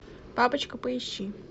папочка поищи